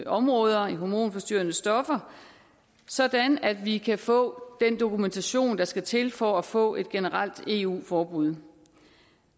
områder i hormonforstyrrende stoffer sådan at vi kan få den dokumentation der skal til for at få et generelt eu forbud